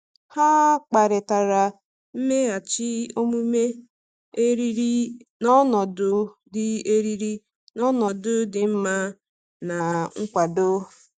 Ha kparịtara mmeghachi omume eriri n’ọnọdụ dị eriri n’ọnọdụ dị mma na nkwado.